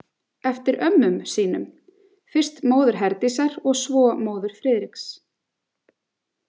Eftir ömmum sínum, fyrst móður Herdísar og svo móður Friðriks.